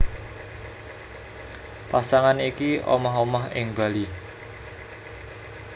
Pasangan iki omah omah ing Bali